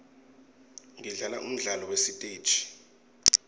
ngidlala umdlalo wasesitegi